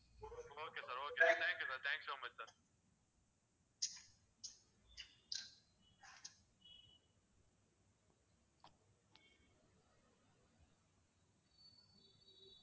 okay sir okay sir thank you sir thank you so much sir